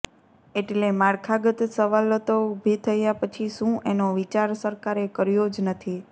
એટલે માળખાગત સવલતો ઊભી થયાં પછી શું એનો વિચાર સરકારે કર્યો જ નથી